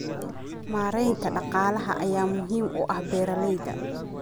Maareynta dhaqaalaha ayaa muhiim u ah beeralayda.